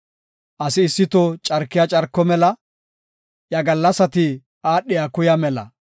Asi issi toho carkiya carko mela; iya gallasati aadhiya kuya mela.